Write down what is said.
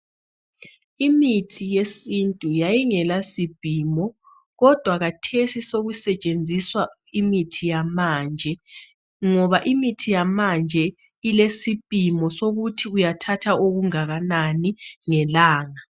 Imithi yesintu yayingela sipimo kodwa khathesi kodwa khathesi sekusetshenziswa imithi yamanje ngoba imithi yamanje ilesipimo sokuthi uyathatha okungakanani ngelanga.